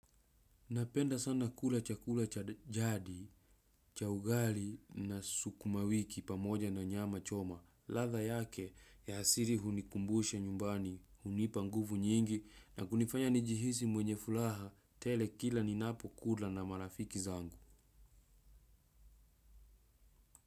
Napenda sana kula chakula cha jadi, cha ugali na sukumawiki pamoja na nyama choma. Ladha yake ya asili hunikumbusha nyumbani, hunipa nguvu nyingi na kunifanya nijihisi mwenye furaha tele kila ninapokula na marafiki zangu.